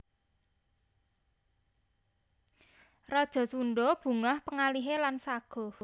Raja Sundha bungah panggalihé lan saguh